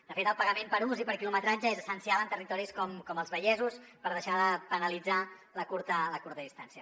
de fet el pagament per ús i per quilometratge és essencial en territoris com els vallesos per deixar de penalitzar la curta distància